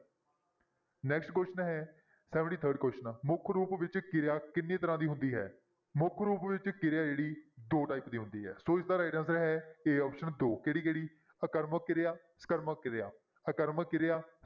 Next question ਹੈ seventy third question ਆ ਮੁੱਖ ਰੂਪ ਵਿੱਚ ਕਿਰਿਆ ਕਿੰਨੇ ਤਰ੍ਹਾਂ ਦੀ ਹੁੰਦੀ ਹੈ, ਮੁੱਖ ਰੂਪ ਵਿੱਚ ਕਿਰਿਆ ਜਿਹੜੀ ਦੋ type ਦੀ ਹੁੰਦੀ ਹੈ ਸੋ ਇਸਦਾ right answer ਹੈ a option ਦੋ, ਕਿਹੜੀ-ਕਿਹੜੀ ਅਕਰਮਕ ਕਿਰਿਆ, ਸਕਰਮਕ ਕਿਰਿਆ, ਆਕਰਮਕ ਕਿਰਿਆ